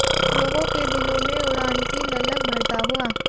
लोगो के दिलों में उड़ान की ललक भरता हुआ